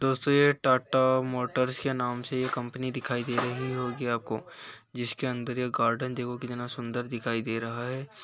दोस्तों यह टाटा मोटर्स के नाम से यह कंपनी दिखाई दे रही होगी आपको जिसके अंदर यह गार्डन देखो कितना सुन्दर दिखाई दे रहा है|